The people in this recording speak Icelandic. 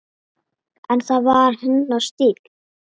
En það var hennar stíll.